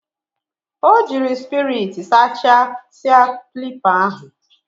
O jiri spiriti sachasia klipa ahu.